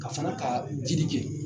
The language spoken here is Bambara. Ka fana ka jiidi kɛ